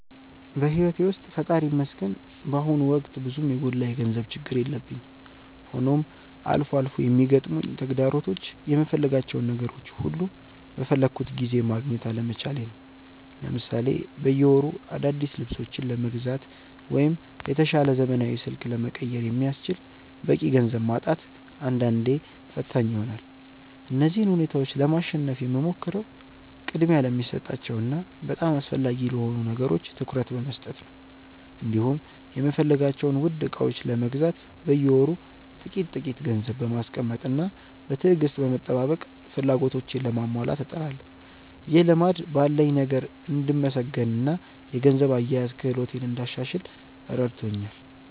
በሕይወቴ ውስጥ ፈጣሪ ይመስገን በአሁኑ ወቅት ብዙም የጎላ የገንዘብ ችግር የለብኝም፤ ሆኖም አልፎ አልፎ የሚገጥሙኝ ተግዳሮቶች የምፈልጋቸውን ነገሮች ሁሉ በፈለግኩት ጊዜ ማግኘት አለመቻሌ ነው። ለምሳሌ በየወሩ አዳዲስ ልብሶችን ለመግዛት ወይም የተሻለ ዘመናዊ ስልክ ለመቀየር የሚያስችል በቂ ገንዘብ ማጣት አንዳንዴ ፈታኝ ይሆናል። እነዚህን ሁኔታዎች ለማሸነፍ የምሞክረው ቅድሚያ ለሚሰጣቸው እና በጣም አስፈላጊ ለሆኑ ነገሮች ትኩረት በመስጠት ነው፤ እንዲሁም የምፈልጋቸውን ውድ ዕቃዎች ለመግዛት በየወሩ ጥቂት ጥቂት ገንዘብ በማስቀመጥና በትዕግስት በመጠባበቅ ፍላጎቶቼን ለማሟላት እጥራለሁ። ይህ ልማድ ባለኝ ነገር እንድመሰገንና የገንዘብ አያያዝ ክህሎቴን እንዳሻሽል ረድቶኛል።